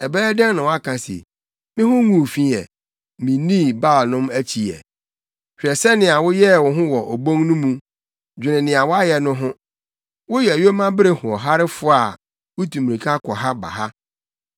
“Ɛbɛyɛ dɛn na woaka se, ‘Me ho nguu fi ɛ; minnii Baalnom akyi ɛ’? Hwɛ sɛnea woyɛɛ wo ho wɔ obon no mu; dwene nea woayɛ no ho. Woyɛ yomabere hoɔharefo a wutu mmirika kɔ ha ba ha,